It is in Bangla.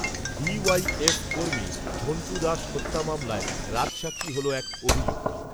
ডি ওয়াই, এফ কর্মী ঝণ্টু দাস হত্যা মামলায়, রাজসাক্ষী হল এক, অভিযুক্ত